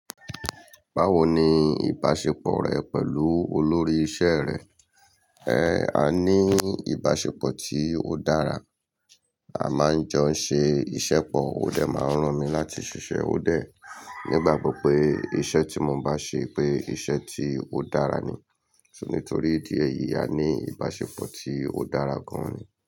Báwo ni ìbáṣepọ̀ rẹ pẹ̀lú olórí iṣẹ́ rẹ? Ẹ à ní ìbáṣepọ̀ tí ó dára, a máa ń jọ ṣe iṣẹ́ pọ̀, ó dẹ máa ń rán mi láti ṣiṣẹ́ ó dẹ̀. Nígbà gbọ pé iṣẹ́ tí mo bá ṣe, pé iṣẹ́ tí ó dára ni, so, nítorí ìdí èyí a ní ìbáṣepọ̀ tí ó dára gan ni.